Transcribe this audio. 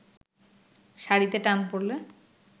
শাড়িতে টান পড়লে